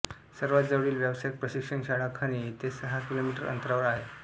सर्वात जवळील व्यावसायिक प्रशिक्षण शाळा खणे येथे सहा किलोमीटर अंतरावर आहे